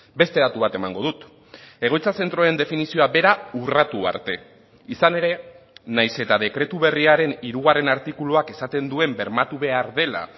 beste datu bat emango dut egoitza zentroen definizioa bera urratu arte izan ere nahiz eta dekretu berriaren hirugarren artikuluak esaten duen bermatu behar dela